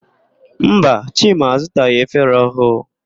Mba, Chima azụtaghị efere ọhụụ.